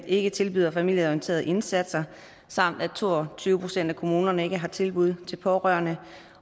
ikke tilbyder familieorienterede indsatser samt at to og tyve procent af kommunerne ikke har tilbud til pårørende